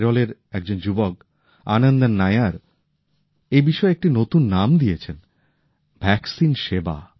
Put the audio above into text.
কেরলের একজন যুবক আনন্দন নায়ার তো এই বিষয়টির একটি নতুন নাম দিয়েছেন ভ্যাকসিন সেবা